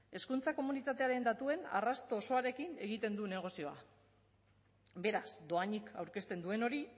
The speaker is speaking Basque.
hezkuntza komunitatearen datuen arrasto osoarekin egiten du negozioa beraz dohainik aurkezten duen hori